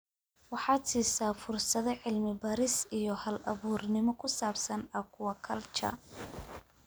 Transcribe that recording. waxaad siisaa fursado cilmi-baaris iyo hal-abuurnimo ku saabsan aquaculture.